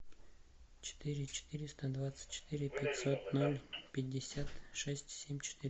четыре четыреста двадцать четыре пятьсот ноль пятьдесят шесть семь четыре